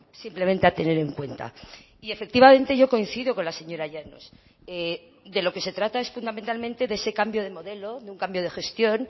simplemente a tener en cuenta y efectivamente yo coincido con la señora llanos de lo que se trata es fundamentalmente de ese cambio de modelo de un cambio de gestión